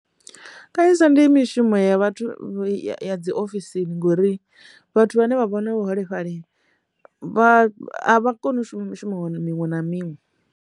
Kanzhisa ndi mishumo ya vhathu ya dzi ofisini ngori vhathu vhane vha vhona vhaholefhali vha kone u shuma mishumo miṅwe na miṅwe.